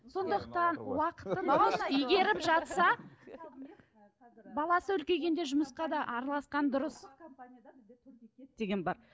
сондықтан уақытын игеріп жатса баласы үлкейгенде жұмысқа да араласқан дұрыс деген бар